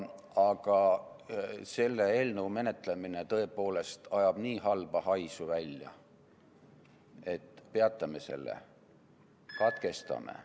Aga selle eelnõu menetlemine tõepoolest ajab nii halba haisu välja, et peatame selle, katkestame.